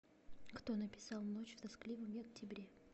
кто написал ночь в тоскливом октябре